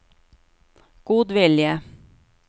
godvilje